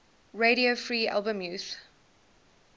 radio free albemuth